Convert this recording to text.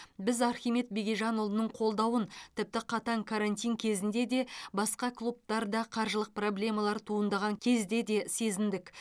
біз архимед бегежанұлының қолдауын тіпті қатаң карантин кезінде де басқа клубтарда қаржылық проблемалар туындаған кезде де сезіндік